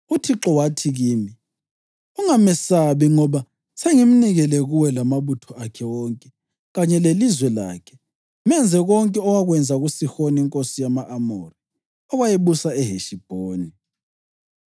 UThixo wathi kimi, ‘Ungamesabi ngoba sengimnikele kuwe lamabutho akhe wonke kanye lelizwe lakhe. Menze konke owakwenza kuSihoni inkosi yama-Amori, owayebusa eHeshibhoni.’